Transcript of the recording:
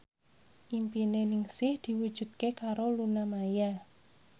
impine Ningsih diwujudke karo Luna Maya